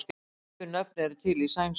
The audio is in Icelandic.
Svipuð nöfn eru til í sænsku.